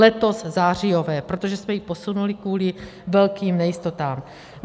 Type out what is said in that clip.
Letos zářijové, protože jsme ji posunuli kvůli velkým nejistotám.